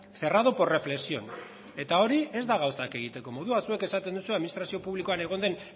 cerrado por reflexión eta hori ez da gauzak egiteko modua zuek esaten duzue administrazio publikoan egon den